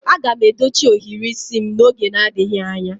Aga m edochi ohiri isi m n'oge adịghị anya